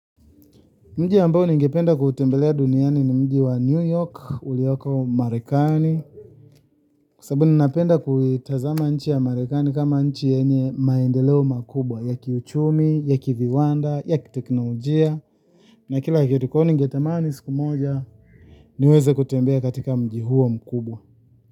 Mji ambao ningependa kuutembelea duniani ni mji wa newyork, ulioko Marekani. Kwa sababu ninapenda kuitazama nchi ya Marekani kama nchi yenye maendeleo makubwa, ya kiuchumi, ya kiviwanda, ya kiteknojia. Na kila kitu kwa hiyo ningetamani siku moja, niweze kutembea katika mji huo mkubwa.